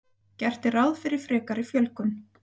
Gert er ráð fyrir frekari fjölgun